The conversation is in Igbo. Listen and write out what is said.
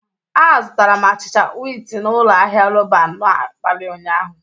Azụtara m achịcha wịtị na ụlọ ahịa Roban n'abalị ụnyaahụ.